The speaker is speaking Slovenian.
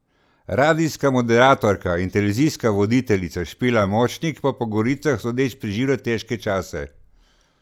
Radijska moderatorka in televizijska voditeljica Špela Močnik po govoricah sodeč preživlja težke čase.